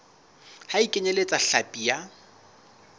ha e kenyeletse hlapi ya